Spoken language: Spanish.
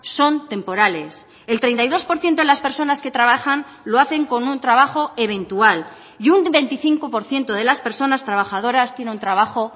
son temporales el treinta y dos por ciento de las personas que trabajan lo hacen con un trabajo eventual y un veinticinco por ciento de las personas trabajadoras tienen trabajo